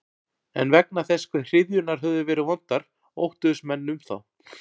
En vegna þess hve hryðjurnar höfðu verið vondar óttuðust menn um þá.